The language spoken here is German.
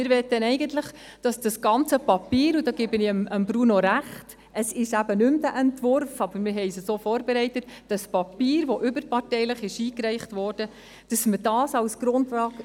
Eigentlich möchten wir, dass dieses ganze Papier – hierin gebe ich Bruno Vanoni recht: es ist eben kein Entwurf mehr, aber wir haben es so vorbereitet –, das Papier, das überparteilich eingereicht wurde, als Grundlage in die BaK genommen wird.